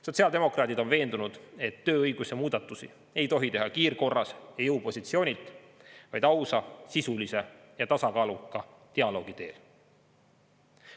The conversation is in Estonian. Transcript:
Sotsiaaldemokraadid on veendunud, et tööõiguse muudatusi ei tohi teha kiirkorras ja jõupositsioonilt, vaid ausa, sisulise ja tasakaaluka dialoogi teel.